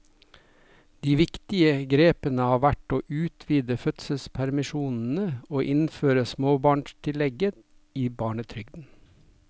De viktigste grepene har vært å utvide fødselspermisjonsordningene og innføre småbarnstillegget i barnetrygden.